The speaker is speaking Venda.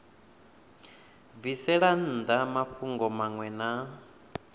bvisela nnḓa mafhungo maṅwe na